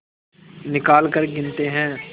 निकालकर गिनते हैं